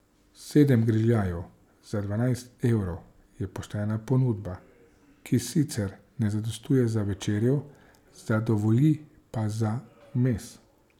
Sedem grižljajev za dvanajst evrov je poštena ponudba, ki sicer ne zadostuje za večerjo, zadovolji pa za vmes.